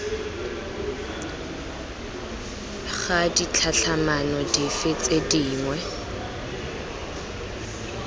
ga ditlhatlhamano dife tse dingwe